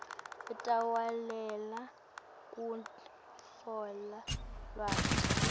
utawulalelela kutfola lwati